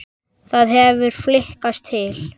Það hefði flykkst til